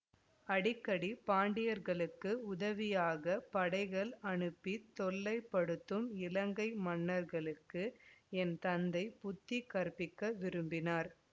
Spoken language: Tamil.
அடிக்கடி பாண்டியர்களுக்கு உதவியாகப் படைகள் அனுப்பித் தொல்லைப்படுத்தும் இலங்கை மன்னர்களுக்கு என் தந்தை புத்தி கற்பிக்க விரும்பினார்